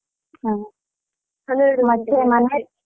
ಹ